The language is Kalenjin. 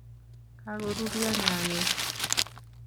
kagoruryo nyayek